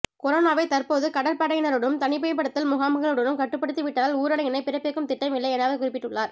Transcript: கொரோனாவை தற்போது கடற்படையினருடனும் தனிமைப்படுத்தல் முகாம்களுடனும் கட்டுப்படுத்தி விட்டதால் ஊரடங்கினை பிறப்பிக்கும் திட்டம் இல்லை என அவர் குறிப்பிட்டுள்ளார்